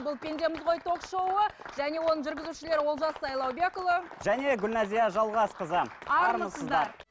бұл пендеміз ғой ток шоуы және оның жүргізушілері олжас сайлаубекұлы және гүлнәзия жалғасқызы армысыздар